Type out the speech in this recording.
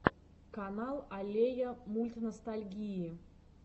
канал аллея мультностальгии